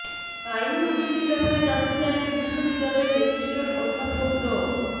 আইনি নোটিশের ব্যাপারে জানতে চাইলে বিশ্ববিদ্যালয়ের রেজিস্ট্রার অধ্যাপক ড